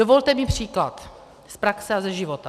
Dovolte mi příklad z praxe a ze života.